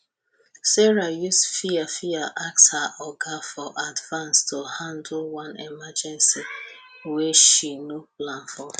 sarah use fear fear ask her oga for advance to handle one emergency wey she no plan for